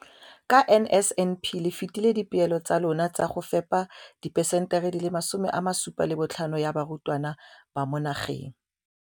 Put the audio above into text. Ka NSNP le fetile dipeelo tsa lona tsa go fepa masome a supa le botlhano a diperesente ya barutwana ba mo nageng.